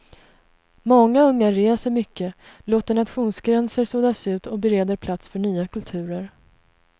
Många unga reser mycket, låter nationsgränser suddas ut och bereder plats för nya kulturer.